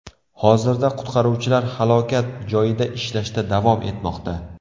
Hozirda qutqaruvchilar halokat joyida ishlashda davom etmoqda.